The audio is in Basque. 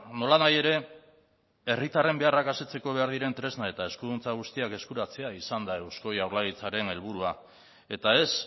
nolanahi ere herritarren beharrak asetzeko behar diren tresna eta eskuduntza guztiak eskuratzea izan da eusko jaurlaritzaren helburua eta ez